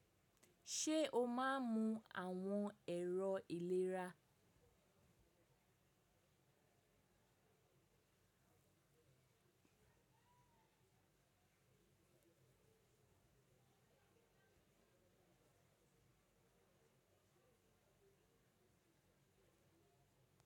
Ṣe o máa ń mu àwọn ẹ̀rọ ìlera?